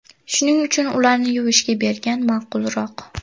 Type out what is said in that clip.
Shuning uchun ularni yuvishga bergan ma’qulroq.